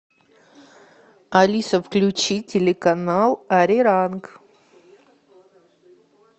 алиса включи телеканал ариранг